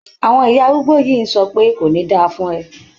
Àwọn ìyá arúgbó yìí ń sọ pé "kò ní da fún ẹ".